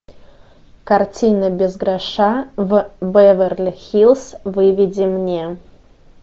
картина без гроша в беверли хиллз выведи мне